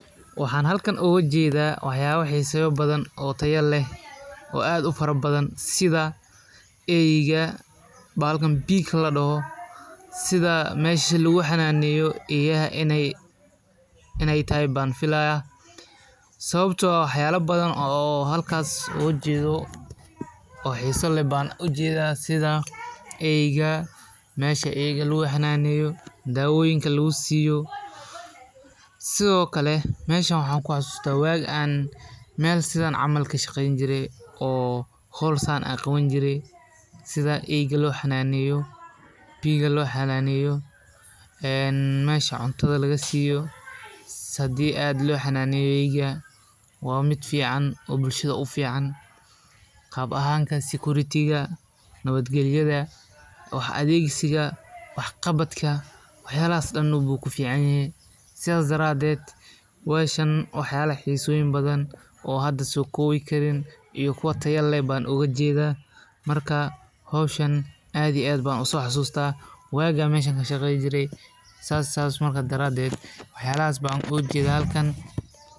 Waxana halkan oga jeda waxyala xiseyo badan oo tayo leh aad u fara badan sitha eyga bahalkan eyaha sawabto ah waxyala badan oo halka oga jedo oo xisa leh ban ujeda sitha mesha eyga lagu xananeyo dawoyinka lagu siyo sithokale maxaa ku xasysata mar an hol sithan camal qawani jire pig lo xananeyo ee mesha cuntadha laga aiyo hadii ad lo xananeyo eyga waa mod bulshaada ufican qab ahanka sikuritiga wax adhegsiga wax qabadka sithas daraded hoshan waxyala xisoyin badan iyo kuwa kale ayan oga jeda marka hoshan aad iyo aad ayan u xasusta wagi an halkan kashaqeyni jire.